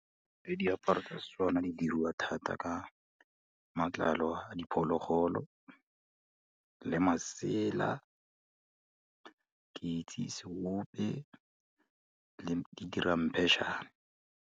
Ee, diaparo tsa Setswana di diriwa thata ka matlalo a diphologolo, le masela. Ke itse seope le di ramphetšhane.